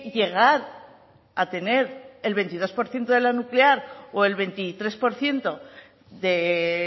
llegar a tener el veintidós por ciento de la nuclear o el veintitrés por ciento de